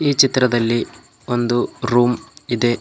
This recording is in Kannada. ಈ ಚಿತ್ರದಲ್ಲಿ ಒಂದು ರೂಮ್ ಇದೆ.